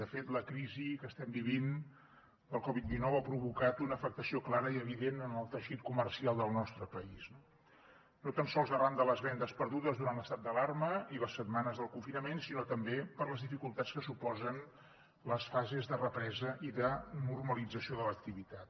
de fet la crisi que estem vivint del covid dinou ha provocat una afectació clara i evident en el teixit comercial del nostre país no tan sols arran de les vendes perdudes durant l’estat d’alarma i les setmanes del confinament sinó també per les dificultats que suposen les fases de represa i de normalització de l’activitat